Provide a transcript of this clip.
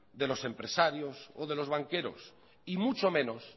de los empresarios o de los banqueros y mucho menos